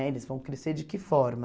Né eles vão crescer de que forma?